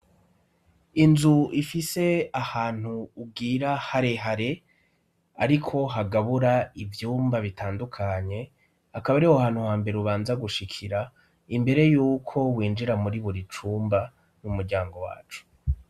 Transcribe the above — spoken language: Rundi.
Inzu ifise ahantu bwira hare hare, ariko hagabura ivyumba bitandukanye, akaba ariho hantu ha mbere ubanza gushikira imbere y'uko winjira muri buri cumba n'umuryango wacu.